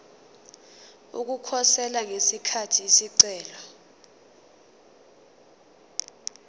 ukukhosela ngesikhathi isicelo